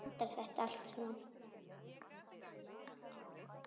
Hvernig endar þetta allt saman?